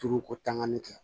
Turu ko tangani kɛ